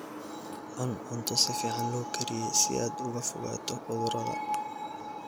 Cun cunto si fiican loo kariyey si aad uga fogaato cudurrada.